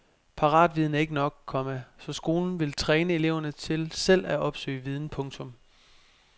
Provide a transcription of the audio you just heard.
Paratviden er ikke nok, komma så skolen vil træne eleverne til selv at opsøge viden. punktum